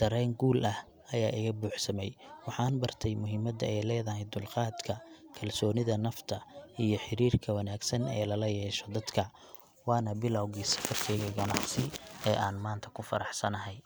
dareen guul ah ayaa iga buuxsamay. Waxaan bartay muhiimadda ay leedahay dulqaadka, kalsoonida nafta, iyo xiriirka wanaagsan ee lala yeesho dadka. Waana bilowgii safarkeyga ganacsi ee aan maanta ku faraxsanahay.